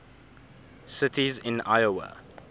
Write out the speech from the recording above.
cities in iowa